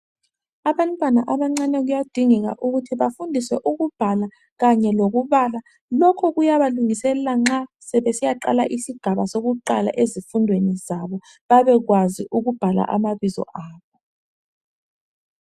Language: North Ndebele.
Abantwana abancane kuyadingeka ukuthi bafundiswe ukubhala Kanye lokubala lokhu kuyabalungiselela nxa sebesiyaqala isigaba sokuqala ezifundweni zabo babekwazu ukubhala amabizo abo.